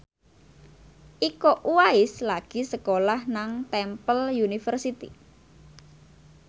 Iko Uwais lagi sekolah nang Temple University